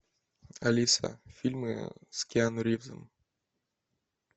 алиса фильмы с киану ривзом